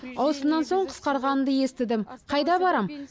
ауысымнан соң қысқарғанымды естідім қайда барам